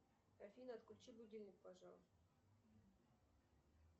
афина отключи будильник пожалуйста